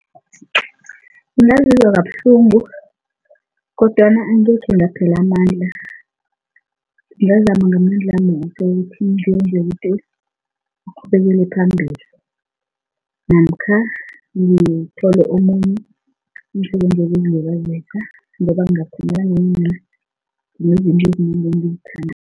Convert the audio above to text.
Ungazizwa kabuhlungu kodwana angekhe ngaphela amandla, ngingazama ngamandlami woke ukuthi ngenze ukuthi ngiqhubekele phambili namkha ngithole omunye umsebenzi wokuzilibazisa ngoba ngiyakhumbula nginezinto ezinengi engizithandako.